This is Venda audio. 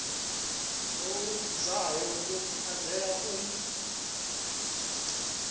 o luzaho u anzela u